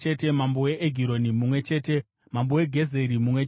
mambo weEgironi mumwe chete mambo weGezeri mumwe chete